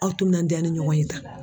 Aw timinandiya ni ɲɔgɔn ye tan.